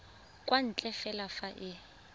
kwa ntle fela fa e